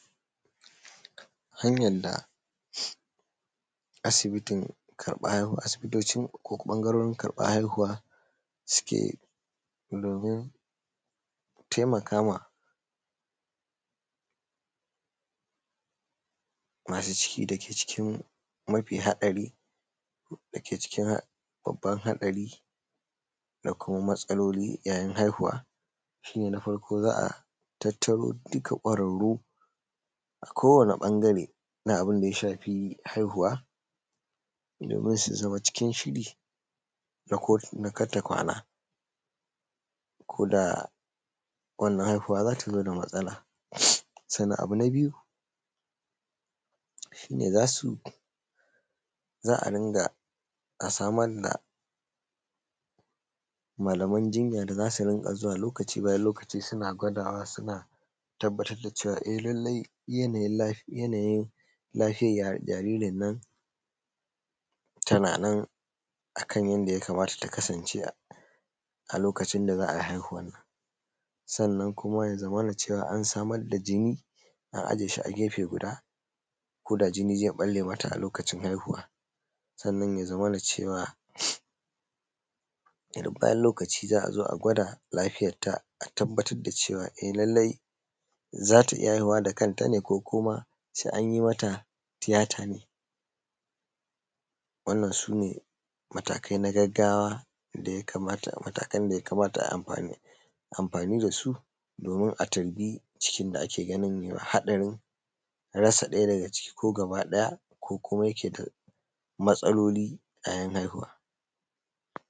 Hanyar da asibitocin karɓan haihuwa suke domin taimakama masu cikin da ke cikin babban haɗari da kuma matsaloli yayin haihuwa, shi ne na farko za a tattaro duka kwararru a kowani ɓangare na abin da ya shafi haihuwa domin su zama cikin shiri na kartakwana ko da wannan haihuwa za ta zo da matsala. Sannan abu na biyu shi ne za a samar da malaman jinya da za su rinƙa zuwa lokaci bayan lokaci, suna gwadawa suna tabbatar da cewa yanayin lafiyar jaririn nan tana nan akan yadda ya kamata ta kasance a lokacin da za a yi haihuwan nan. Sannan kuma ya zamana cewa an samar da jini a aje shi a gefe guda koda jini zai ɓalle mata a lokacin haihuwa. Sannan, ya zamana cewa duk bayan lokaci za a zo a gwada lafiyarta, a tabbatar da cewa eh, lallai za a ta iya haihuwa da kanta ne ko kuma sai an yi mata tiyata, wannan su ne matakan da ya kamata a yi amfani da su domin a tarbi cikin da ake ganin haɗarin rasa ɗaya daga ciki ko gaba ɗaya ko kuma matsaloli yayin haihuwa.